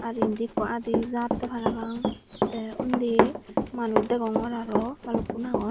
r indi ekko adi jatay parapang tay undi manus degongor arow balukun aagon.